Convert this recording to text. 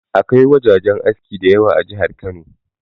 Akwai wajajen aski da yawa a jihar Kano.